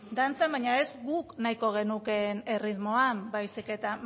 dantzan baina ez guk nahiko genukeen erritmoan baizik eta